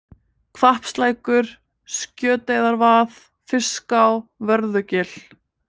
Hvappslækur, Sköteyjarvað, Fiská, Vörðugil